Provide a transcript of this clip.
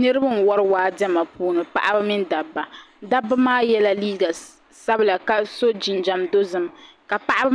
Niribi n wari waa diɛma puuni paɣaba mini dabba dabba maa yela liiga sabila ka so jinjam dozim ka paɣabi